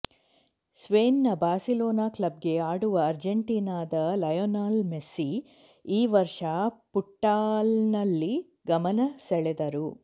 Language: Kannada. ಸ್ಪೇನ್ನ ಬಾರ್ಸಿಲೋನಾ ಕ್ಲಬ್ಗೆ ಆಡುವ ಅರ್ಜೆಂಟೀನಾದ ಲಯೊನೆಲ್ ಮೆಸ್ಸಿ ಈ ವರ್ಷ ಫುಟ್ಬಾಲ್ನಲ್ಲಿ ಗಮನ ಸೆಳೆದರು